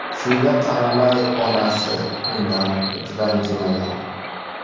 Shunga qaramay, onasi undan ranjimagan.